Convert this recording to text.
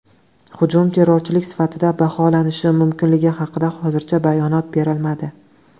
Hujum terrorchilik sifatida baholanishi mumkinligi haqida hozircha bayonot berilmadi.